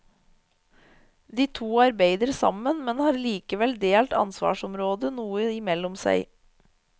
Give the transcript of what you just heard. De to arbeider sammen, men har likevel delt ansvarsområdene noe imellom seg.